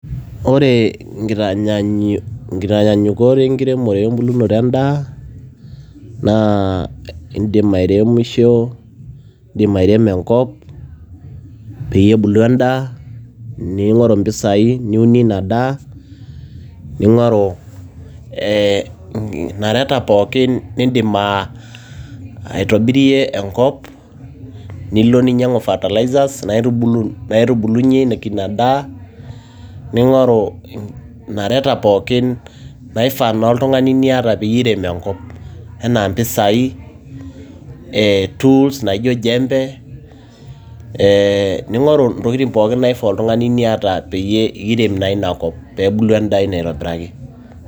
Ore inkitanyaanyukot enkiremote we mbulunoto endaa naa indim airemisho indim airemo enkop, peyie ebulu endaa ning'oru impisai niunie ina daa, ning'oru inareta pooki nindim aa itobirie enkop, nilo ninyang'u fertilisers naitubuluyeki ina daa, ning'oru inareta pookin, naifaa oltung'ani niata peiremie enkop, enaa impisai, tools naijo jembe, ning'oru intokiti naifaa oltung'ani ninarikino niata pee irem naa inakop pee bulu endaa ino aitobiraki.